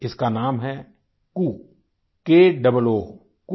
इसका नाम है कू क ओओ कू